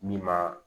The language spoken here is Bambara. Min ma